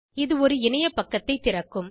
அது ஒரு இணைய பக்கத்தை திறக்கும்